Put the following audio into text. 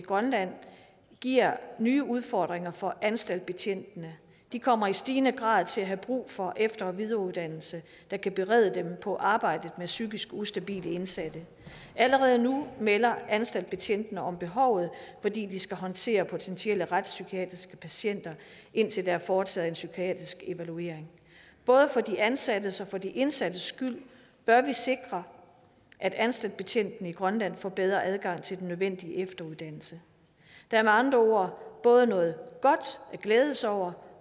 grønland giver nye udfordringer for anstaltbetjentene de kommer i stigende grad til at have brug for efter og videreuddannelse der kan berede dem på arbejdet med psykisk ustabile indsatte allerede nu melder anstaltbetjentene om behovet fordi de skal håndtere potentielle retspsykiatriske patienter indtil der er foretaget en psykiatrisk evaluering både for de ansattes og for de indsattes skyld bør vi sikre at anstaltbetjentene i grønland får bedre adgang til den nødvendige efteruddannelse der er med andre ord både noget godt at glæde sig over